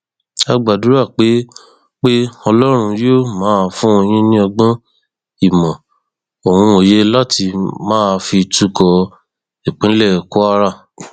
a gbàdúrà pé pé ọlọrun yóò máa fún yín ní ọgbọn ìmọ ohun òye láti máa fi tukọ ìpínlẹ kwara